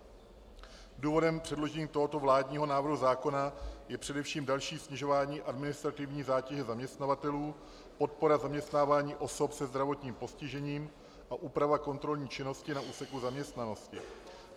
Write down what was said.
Důvodem předložení tohoto vládního návrhu zákona je především další snižování administrativní zátěže zaměstnavatelů, podpora zaměstnávání osob se zdravotním postižením a úprava kontrolní činnosti na úseku zaměstnanosti.